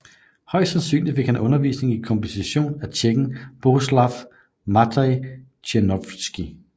Højst sandsynligt fik han undervisning i komposition af tjekken Bohuslav Matěj Černohorský